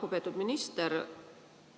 Lugupeetud minister!